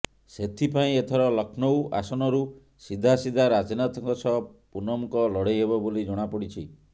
ସେଥିପାଇଁ ଏଥର ଲକ୍ଷ୍ନୌ ଆସନରୁ ସିଧା ସିଧା ରାଜନାଥଙ୍କ ସହ ପୁନମଙ୍କ ଲଢେଇ ହେବ ବୋଲି ଜଣା ପଡିଛି